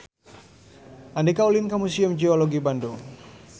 Andika ulin ka Museum Geologi Bandung